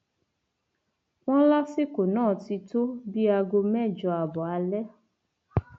wọn lásìkò náà ti tó bíi aago mẹjọ ààbọ alẹ